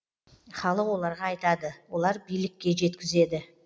халық оларға айтады олар билікке жеткізеді